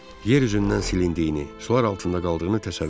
Yer üzündən silindiyini, sular altında qaldığını təsəvvür etdim.